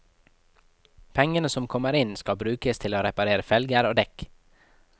Pengene som kommer inn, skal brukes til å reparere felger og dekk.